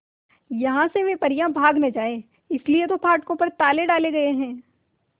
यहां से वे परियां भाग न जाएं इसलिए तो फाटकों पर ताले डाले गए हैं